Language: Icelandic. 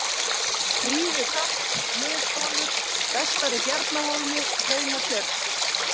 Fríðutöpp, Miðbolur, Vestari-Bjarnahólmi, Hraunatjörn